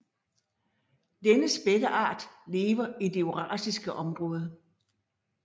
Denne spætteart lever i det eurasiske område